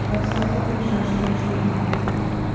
а как сам так обижаешься очень быстренько